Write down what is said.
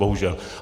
Bohužel.